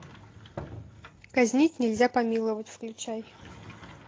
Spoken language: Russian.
казнить нельзя помиловать включай